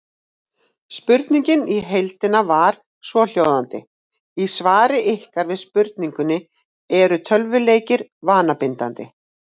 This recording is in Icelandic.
Spurningin í heild var svohljóðandi: Í svari ykkar við spurningunni Eru tölvuleikir vanabindandi?